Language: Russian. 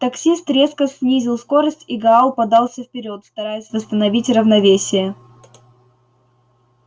таксист резко снизил скорость и гаал подался вперёд стараясь восстановить равновесие